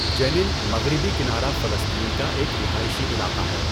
جنین، مغربی کنارہ فلسطین کا ایک رہائشی علاقہ ہے۔